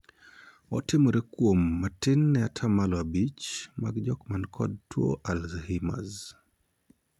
Otimore kuom matin ne ataa malo abich mag jok man kod tuo 'Alzheimers'.